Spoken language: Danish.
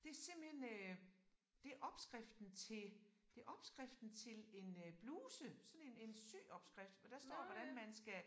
Det simpelthen øh det opskriften til det opskriften til en øh bluse sådan en en syopskrift for der står hvordan man skal